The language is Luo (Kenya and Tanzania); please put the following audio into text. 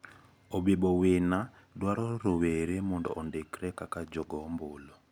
Obibo wina dwaro rowere mondo ondikre kaka jogoo ombulu.